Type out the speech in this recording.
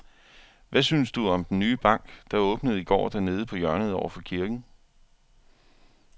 Hvad synes du om den nye bank, der åbnede i går dernede på hjørnet over for kirken?